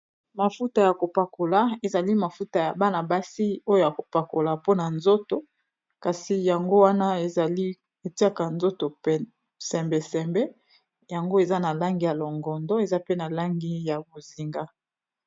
Mafuta ya kopakola ezali mafuta ya bana-basi oyo ya kopakola mpona nzoto kasi yango wana ezali etiaka nzoto psembesembe yango eza na langi ya longondo eza pe na langi ya bozinga.